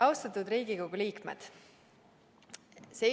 Austatud Riigikogu liikmed!